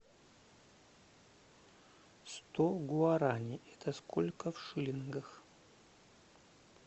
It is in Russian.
сто гуарани это сколько в шиллингах